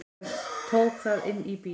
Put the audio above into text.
Ég tók það inn í bíl.